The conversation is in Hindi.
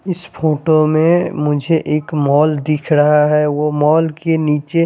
इस फोटो में मुझे एक मॉल दिख रहा है वो मॉल के निचे--